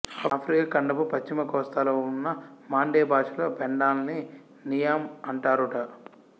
Africa ఖండపు పశ్చిమ కోస్తాలో ఉన్న మాండే భాషలో పెండలాన్ని నియాం అంటారుట